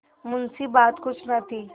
मुंशीबात कुछ न थी